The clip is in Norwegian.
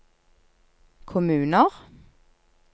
kommuner